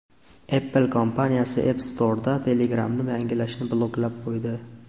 Apple kompaniyasi App Store’da Telegram’ni yangilashni bloklab qo‘ydi.